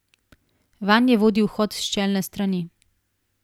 Vanje vodi vhod s čelne strani.